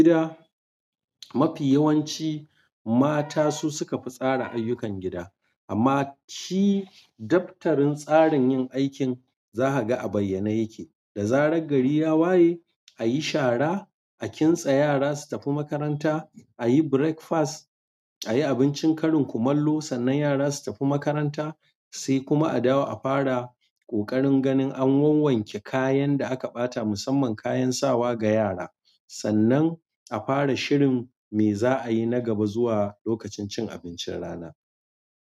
Gida mafi yawanci mata su suka fi tsara ayyukan gida. Amma shi daftarin tsarin yin aikin za ka ga a bayyane yake. Da zarar gari ya waye a yi shara, a kintsa yara su tafi makaranta, a yi breakfast, a yi abincin karin kumallo sannan yara su tafi makaranta. Sai kuma a dawo a fara ƙoƙarin ganin an wanwanke kayan da aka ɓata musamman kayan sawa ga yara sannan a fara shirin me za'ayi na gaba zuwa lokacin cin abincin rana.